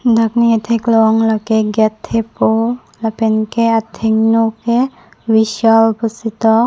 dak ne katheklong lake gate thepo lapen ke athengno ke vishal pusi ketok.